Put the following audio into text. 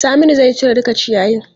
Saminu zai cire duka ciyayin.